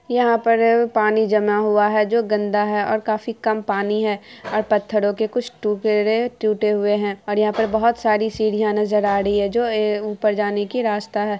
यहाँ पर पानी जमा हुआ है जो गंदा है और काफी कम पानी है। और पत्थरों के कुछ फेरे टूटे हुये है। यहाँ पर बोहत सारी सीढ़िया नजर आ रही है जो ये ऊपर जाने की रास्ता है ।